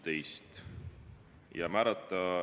Ettekandjaks otsustati määrata mind.